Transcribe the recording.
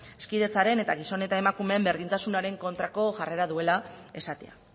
hezkidetzaren eta gizon eta emakumeen berdintasunaren kontrako jarrera duela esatea